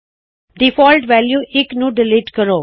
default value 1 ਨੂੰ delete ਕਰੋ